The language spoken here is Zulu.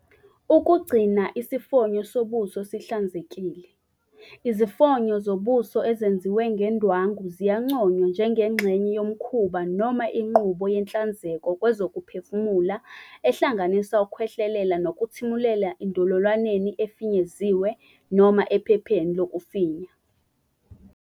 Ukugcina isifonyo sobuso sihlanzekile. Izifonyo zobuso ezenziwe ngendwangu ziyanconywa njengengxenye yomkhuba noma inqubo yenhlanzeko kwezokuphefumula ehlanganisa ukukhwehlelela nokuthimulela endololwaneni efinyeziwe noma ephepheni lokufinya.